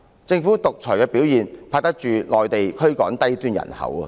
政府獨裁的表現比得上內地驅趕低端人口的行為。